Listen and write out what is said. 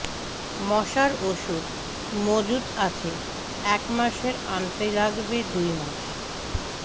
মশার ওষুধ মজুদ আছে এক মাসের আনতে লাগবে দুই মাস